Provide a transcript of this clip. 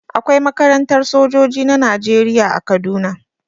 Akwai makarantar sojoji na Najeriya a Kaduna.